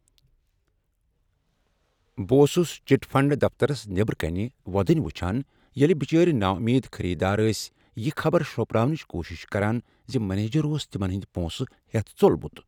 بہٕ اوسس chit fund دفترس نیبرٕ کنیہ وۄدنیہ وٕچھان ییٚلہ بچٲرۍ نامید خریدار ٲسۍ یہ خبر شروٚپراونٕچ کوٗشش کران ز منیجر اوس تمن ہٕندۍ پونسہٕ ہیتھ ژوٚلمت۔